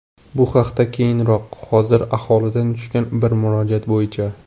Bu haqda keyinroq, hozir aholidan tushgan bir murojaat bo‘yicha.